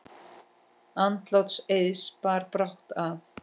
Andlát Eiðs bar brátt að.